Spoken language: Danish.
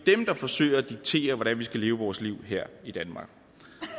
dem der forsøger at diktere hvordan vi skal leve vores liv her i danmark